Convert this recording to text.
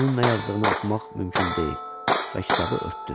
Onun nə yazdığını oxumaq mümkün deyil və kitabı örtdü.